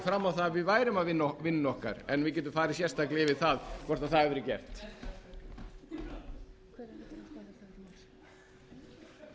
fram á það að við værum að vinna vinnuna okkar en við getum farið sérstaklega yfir það hvort það hafi verið gert